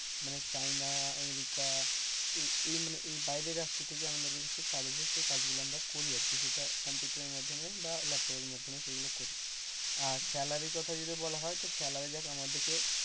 চাইনা, America মানে এই বাইরের রাষ্ট্র থেকে আমাদের কাছে কাজ আসে, সেই কাজ গুলো আমরা করি আর কি, কম্পিউটার এর মাধ্যমে বা ল্যাপটপ এর মাধ্যমে করি আর salary কথা যদি বলা হয় তো যাক আমাদেরকে.